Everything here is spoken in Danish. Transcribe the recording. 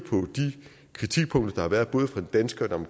kritikpunkter der har været både fra den danske og